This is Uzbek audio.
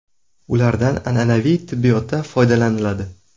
Ulardan an’anaviy tibbiyotda foydalaniladi.